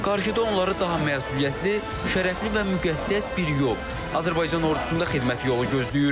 Qarşıda onları daha məsuliyyətli, şərəfli və müqəddəs bir yol – Azərbaycan ordusunda xidmət yolu gözləyir.